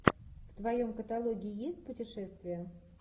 в твоем каталоге есть путешествия